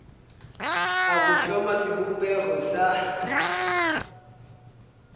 a go hloma sebopego sa